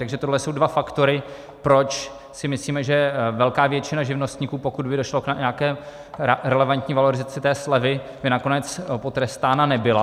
Takže tohle jsou dva faktory, proč si myslíme, že velká většina živnostníků, pokud by došlo k nějaké relevantní valorizaci té slevy, by nakonec potrestána nebyla.